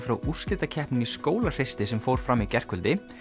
frá úrslitakeppninni í Skólahreysti sem fór fram í gærkvöldi